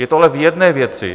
Je to ale v jedné věci.